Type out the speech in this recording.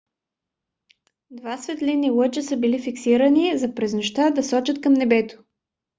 два светлинни лъча са били фиксирани за през нощта да сочат към небето